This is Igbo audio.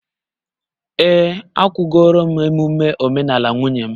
Ee, akwụgoro m emume omenala nwunye m